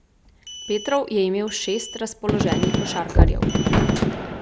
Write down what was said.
Petrov je imel šest razpoloženih košarkarjev.